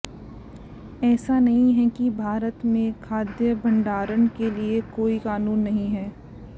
ऐसा नहीं है कि भारत में खाद्य भंडारण के लिए कोई कानून नहीं है